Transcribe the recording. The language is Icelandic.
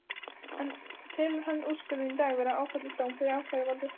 En telur hann úrskurðinn í dag vera áfellisdóm fyrir ákæruvaldið?